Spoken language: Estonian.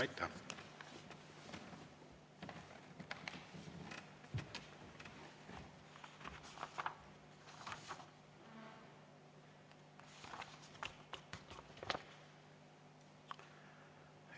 Aitäh!